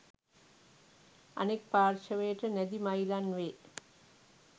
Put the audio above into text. අනෙක් පාර්ශවයට නැදි මයිලන් වේ.